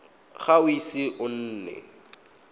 ga o ise o nne